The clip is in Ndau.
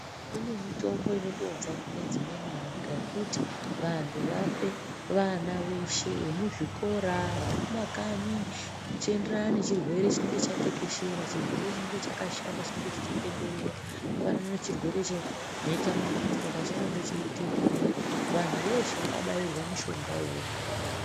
Kune mitombo inotobva kune dzimweni nyika yekuti vantu vape vana veshe vemuzvikora, vari kumakanyi zvichienderana nechirwere chinenge chatekeshera, chirwere chinenge chakashata chinenge chichitenderera. Zvakafanana nechirwere chemhetamakumbo pachakange cheitenderera, vantu veshe vakabairwa mishonga iwowo.